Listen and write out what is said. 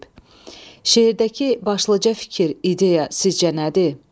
Şeirdəki başlıca fikir, ideya sizcə nədir?